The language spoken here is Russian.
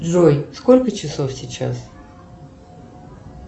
джой сколько часов сейчас